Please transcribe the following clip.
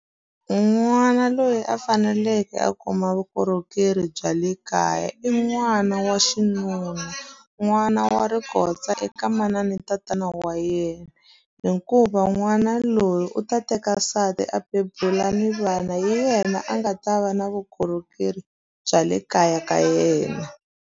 N'wana loyi a faneleke a kuma vukorhokeri bya le kaya i n'wana wa xinuna. N'wana wa rikotsa eka manana na tatana wa wa yena, hikuva n'wana loyi u ta teka nsati a bebula ni vana. Hi yena a nga ta va na vukorhokeri bya le kaya ka yena.